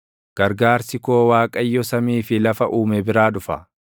Gargaarsi koo Waaqayyo samii fi lafa uume biraa dhufa.